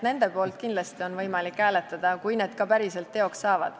Nende poolt on kindlasti võimalik hääletada, kui need ka päriselt teoks saavad.